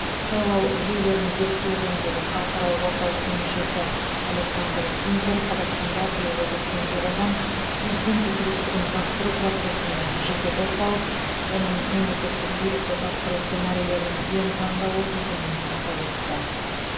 сайлау жүйелерін зерттеу жөніндегі халықаралық орталықтың мүшесі александр цинкер қазақстанда биылғы көктемде болған президент өкілеттігін тапсыру процесіне жете тоқталып оның мемлекеттік билікті тапсыру сценарийлерінің ең таңдаулысы екенін атап өтті